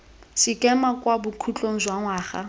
sekema kwa bokhutlhong jwa ngwaga